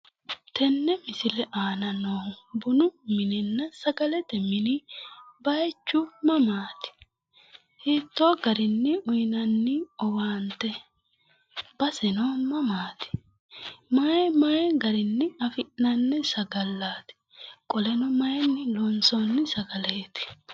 Tenne misile aana noohu bunu mininna sagalete mini bayichu mamaati? Hiittoo garinni uyinanni owaante? Baseno mamaati? Mayi mayi garinni afi'nanni sagallaati? Qoleno mayinni loonsoonni sagaleeti?